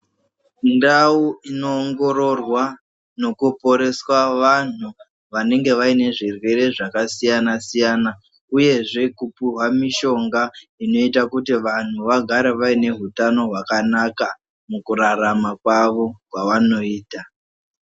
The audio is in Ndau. Ndau inoongororwa nokoporeswa wanhu wanenge waine zvirwere zvakasiyana siyana uyezve kupuhwa mishonga inoita kuti vanhu wagare waine hutano hwakanaka mukurarama kwawo kwawanoita.